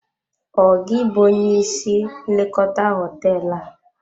Ọ gị bụ onye isi nlekọta hoteelu a?